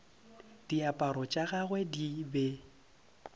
diaparo tša gagwe di be